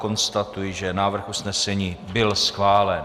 Konstatuji, že návrh usnesení byl schválen.